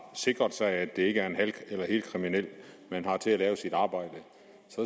sikret sig at det ikke er en halv eller helkriminel man har til at lave sit arbejde